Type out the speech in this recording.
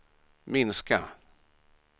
minska